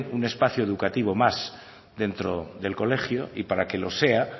un espacio educativo más dentro del colegio y para que lo sea